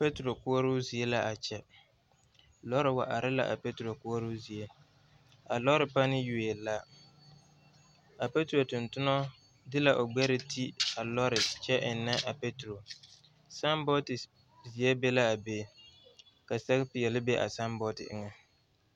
Petrol koɔroo zie la a kyɛ lɔɔre wa are la a petrol koɔroo zie a lɔɔre pani yuoe la a petrol tontona de la o gbɛre ti a lɔɔre kyɛ eŋnɛ a petrol saambɔɔte zie be la a be ka sɛge peɛlle be a saambɔɔte eŋɛ.